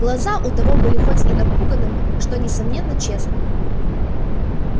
глаза у того были хоть и напуганными что несомненно честными